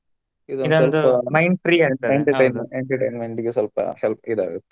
entertainment ಇಗೆ ಸೊಲ್ಪ help ಇದ್ ಆಗತ್ತೆ.